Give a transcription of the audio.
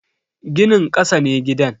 Ginin kasa ne gidan.